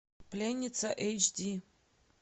пленница эйч ди